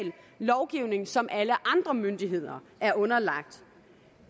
lovgivning som alle andre myndigheder er underlagt